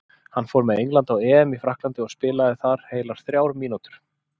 Hann fór með Englandi á EM í Frakklandi og spilaði þar heilar þrjár mínútur.